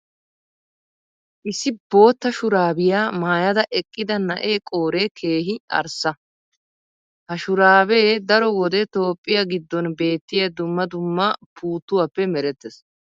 issi bootta shuraabiya maayada eqqida na'ee qooree keehi arssa. ha shuraabee daro wode toophphiya giddon beettiya dumma dumma puutuwaappe merettees.